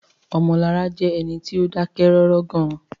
Omolara jẹ́ ẹni tí ó dákẹ́ rọ́rọ́ gan-an